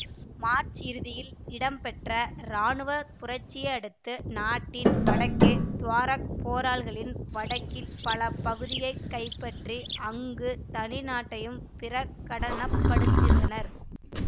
March இறுதியில் இடம்பெற்ற இராணுவ புரட்சியை அடுத்து நாட்டின் வடக்கே துவாரெக் போராள்களின் வடக்கின் பல பகுதிகளை கைப்பற்றி அங்கு தனிநாட்டையும் பிரகடனப்படுத்தியிருந்தனர்